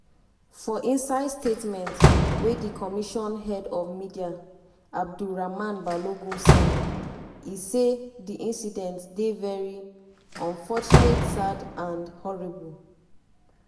for inside statement wey di commission head of media abdur-rahman balogun sign e say di incident dey veri “unfortunate sad and horrible”.